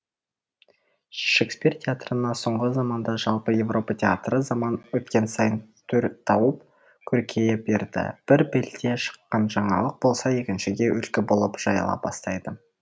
шекспир театрынан соңғы заманда жалпы европа театры заман өткен сайын түр тауып көркейе берді бір елде шыққан жаңалық болса екіншіге үлгі болып жайыла бастайды